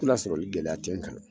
Tu lasɔrɔli gɛlɛya te kan